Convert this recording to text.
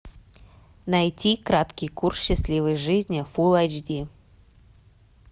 найти краткий курс счастливой жизни фул айч ди